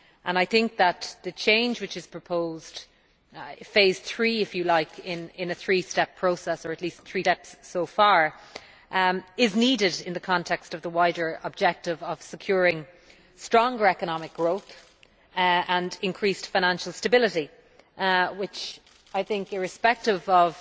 I think that the change which is proposed phase three, if you like, in a three step process, or at least three steps so far, is needed in the context of the wider objective of securing stronger economic growth and increased financial stability, which, irrespective of